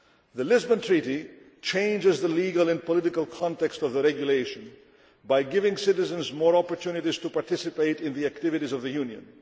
The Lisbon Treaty changes the legal and political context of the Regulation by giving citizens more opportunities to participate in the activities of the